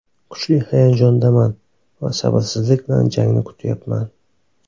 Kuchli hayajondaman va sabrsizlik bilan jangni kutyapman.